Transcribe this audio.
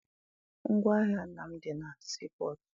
Ngwaahịa nna m dị na sii pọtụ.